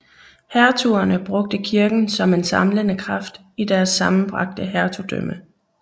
Hertugerne brugte kirken som en samlende kraft i deres sammenbragte hertugdømme